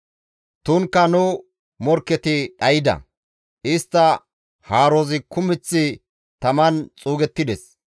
‹Tunkka nu morkketi dhayda; istta haarozi kumeth taman xuugettides.›